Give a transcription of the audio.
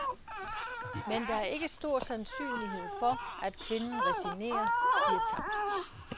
Men der er ikke stor sandsynlighed for, at kvinden resignerer, giver tabt.